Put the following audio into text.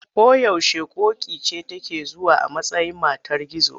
Ko yaushe ƙoƙi ce take zuwa a matsayin matar gizo.